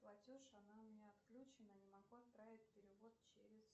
платеж она у меня отключена не могу отправить перевод через